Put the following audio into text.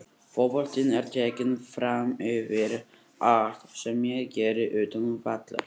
Fótboltinn er tekinn framyfir allt sem ég geri utan vallar.